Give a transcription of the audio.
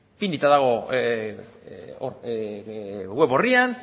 ipinita dago web orrian